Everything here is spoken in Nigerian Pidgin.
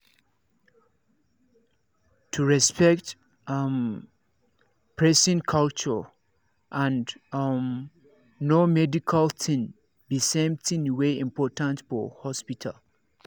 to respect um person culture and um know medical thing be same thing wey important for hospital